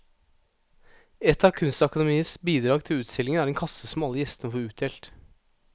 Et av kunstakademiets bidrag til utstillingen er en kasse som alle gjestene får utdelt.